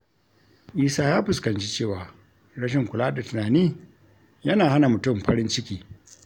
Isa ya fuskanci cewa rashin kula da tunani yana hana mutum farin ciki.